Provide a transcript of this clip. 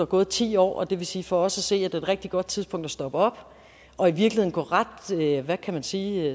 gået ti år og det vil sige for os at se er et rigtig godt tidspunkt at stoppe op og i virkeligheden hvad kan man sige